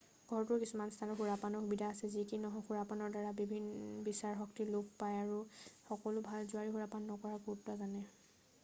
ঘৰটোৰ কিছুমান স্থানত সুৰাপানৰ সুবিধা আছে যি কি নহওক সুৰাপানৰ দ্বাৰা বিচাৰ শক্তি লোপ পায় সকলো ভাল জুৱাৰীয়ে সুৰাপান নকৰাৰ গুৰুত্ব জানে